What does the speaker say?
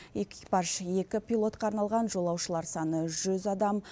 экипаж екі пилотқа арналған жолаушылар саны жүз адам